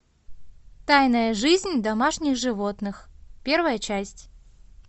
тайная жизнь домашних животных первая часть